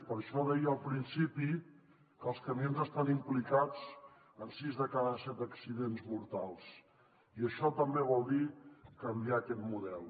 per això deia al principi que els camions estan implicats en sis de cada set accidents mortals i això també vol dir canviar aquest model